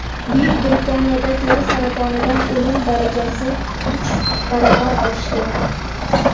Buyuk Britaniyada teri saratonidan o‘lim darajasi uch baravar oshdi.